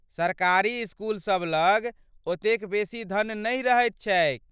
सरकारी इसकुलसभ लग ओतेक बेसी धन नहि रहैत छैक।